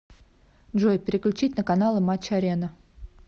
джой переключить на каналы матч арена